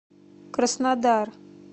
краснодар